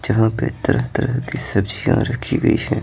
जहां पे तरह तरह की सब्जियां रखी गई हैं।